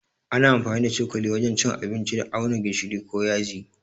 Ana amfani da cokali wajen cin abinci da auna gishiri ko yaji.